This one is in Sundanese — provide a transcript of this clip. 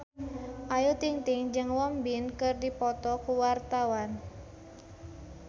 Ayu Ting-ting jeung Won Bin keur dipoto ku wartawan